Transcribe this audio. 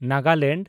Nagaland